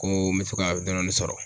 Ko n be fe ka dɔɔni dɔɔni sɔrɔ.